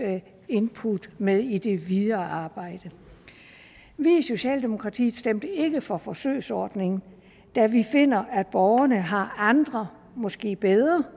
input med i det videre arbejde i socialdemokratiet stemte vi ikke for forsøgsordningen da vi finder at borgerne har andre måske bedre